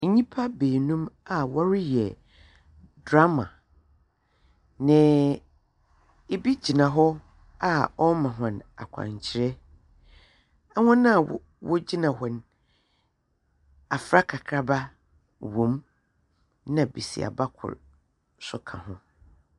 Nnyimpa baanum a wɔreyɛ drama. Na ebi gyina hɔ a ɔrema hɔn akwankyerɛ. Ahɔn a wogyina hɔ no, afra kakraba wɔ mu. Na besiaba kor so ka ho.